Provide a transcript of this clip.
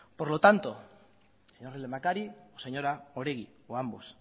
por lo tanto señor lehendakari señora oregi o ambos